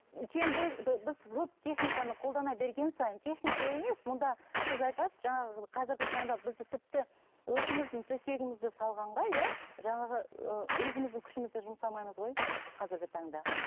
чем біз веб техниканы қолдана берген сайын техника емес мұнда сіз айтасыз жаңағы қазіргі таңда бізді тіпті өзіміздің төсегімізді салғанға иә жаңағы өзіміздің күшімізді жұмсамаймыз ғой қазіргі таңда